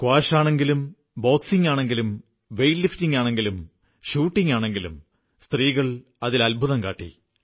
squash ആണെങ്കിലും ബോക്സിംഗാണെങ്കിലും weight ലിഫ്റ്റിംഗാണെങ്കിലും ഷൂട്ടിംഗാണെങ്കിലും സ്ത്രീകൾ അത്ഭുതം കാട്ടി